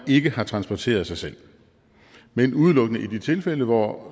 ikke har transporteret sig selv men udelukkende i de tilfælde hvor